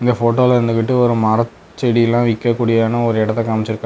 இந்த போட்டோல இருந்துகிட்டு ஒரு மரச்செடிலா விக்கக்கூடியனு ஒரு எடத்த காம்ச்சிருக்காங்க.